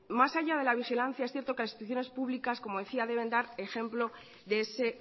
más allá de la vigilancia es cierto que las instituciones públicas como decía deben dar ejemplo de ese